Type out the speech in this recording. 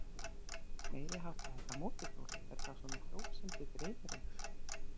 Meiriháttar þetta mótorhjól. er það svona hjól sem þig dreymir um?